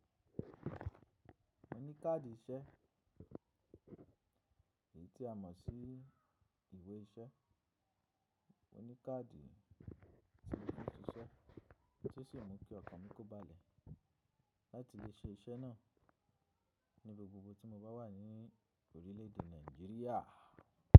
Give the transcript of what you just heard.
Mo ní káàdì iṣẹ́, èyí tí a mọ̀ sí ìwé iṣẹ́. Mo ní káàdì tí mo fi ń ṣiṣẹ́ tí ó sì mú kí ọkàn mi kó balẹ̀ láti lè ṣe iṣẹ́ náà ní ibi gbogbo tí mo bá wà ní orílẹ̀ èdè Nàìjíríà.